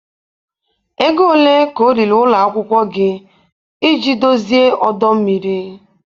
Ego ole ka ọ riri ụlọ akwụkwọ gị iji dozie ọdọ mmiri?